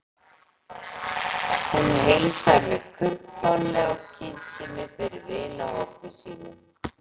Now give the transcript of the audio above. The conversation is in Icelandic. Hún heilsaði mér kumpánlega og kynnti mig fyrir vinahópi sínum.